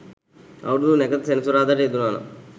අවුරුදු නැකත සෙනසුරාදාට යෙදුණා නම්